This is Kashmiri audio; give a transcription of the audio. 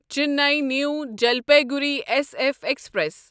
Chennai new Jalpaiguri S F express